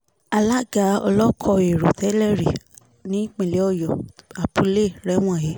alága olóko ẹ̀rọ tẹ́lẹ̀rí nípínlẹ̀ ọyọ apuley rẹ̀wọ̀n he